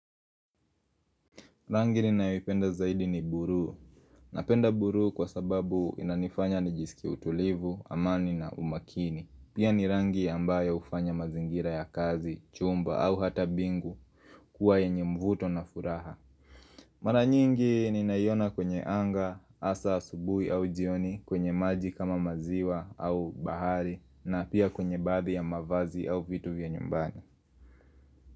Rangi ninaipenda zaidi ni buru. Napenda buruu kwa sababu inanifanya nijisiki utulivu, amani na umakini. Pia ni rangi ambayo ufanya mazingira ya kazi, chumba au hata bingu kuwa yenye mvuto na furaha. Maranyingi ni nayona kwenye anga, asa subuhi au jioni kwenye maji kama maziwa au bahari na pia kwenye baadhi ya mavazi au vitu vya nyumbani.